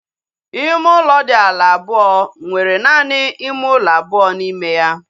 Ime ụlọ dị ala abụọ nwere naanị ime ụlọ abụọ n'ime ya